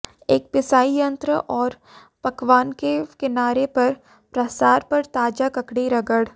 एक पिसाई यंत्र और पकवान के किनारे पर प्रसार पर ताजा ककड़ी रगड़